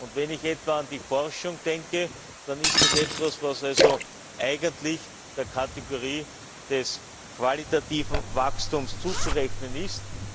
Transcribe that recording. Und wenn ich etwa an die Forschung denke, dann ist das etwas, das eigentlich der Kategorie des qualitativen Wachstums zuzurechnen ist.